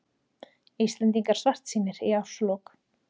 Íslendingar svartsýnir í árslok